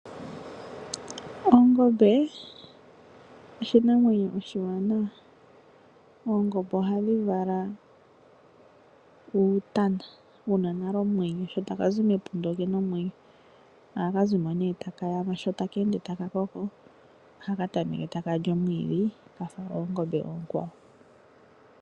Ongombe oshinamwenyo oshiwanawa . Oongombe ohadhi dhi vala uutana wuna nale omwenyo , shi taka zi mepunda okena omwenyo . Ohaka zi mo taka yamu. Sho taka ende taka koko, ohaka tameke okulya omwiidhi kafa oongombe oonkwawo.